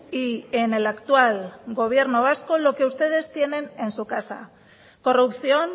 y en el actual gobierno vasco lo que ustedes tienen en su casa corrupción